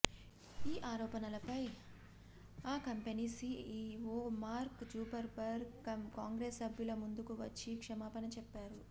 ఈ ఆరోపణలపై ఆ company CEO Mark Zuckerberg Congress సభ్యుల ముందుకు వచ్చి క్షమాపణ చెప్పారు